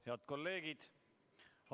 Head kolleegid!